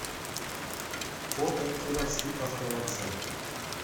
фото кировский автовокзал